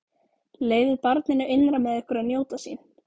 Leyfið barninu innra með ykkur að njóta sín.